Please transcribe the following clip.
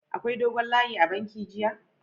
Akwai dogon layi a'banki jiya??